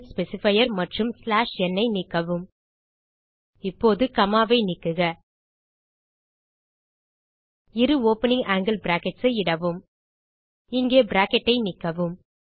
format specifier மற்றும் n ஐ நீக்கவும் இப்போது காமா ஐ நீக்குக இரு ஓப்பனிங் ஆங்கில் பிராக்கெட்ஸ் ஐ இடவும் இங்கே பிராக்கெட் ஐ நீக்கவும்